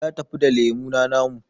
Ya tafi da lemuna namu